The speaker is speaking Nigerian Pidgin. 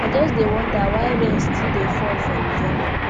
i just dey wonder why rain still dey fall for november